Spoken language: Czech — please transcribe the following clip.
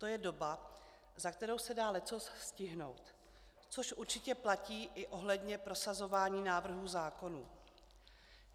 To je doba, za kterou se dá leccos stihnout, což určitě platí i ohledně prosazování návrhů zákonů.